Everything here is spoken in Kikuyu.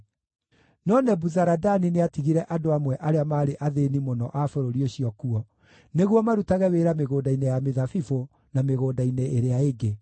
No Nebuzaradani nĩatigire andũ amwe arĩa maarĩ athĩĩni mũno a bũrũri ũcio kuo, nĩguo marutage wĩra mĩgũnda-inĩ ya mĩthabibũ na mĩgũnda-inĩ ĩrĩa ĩngĩ.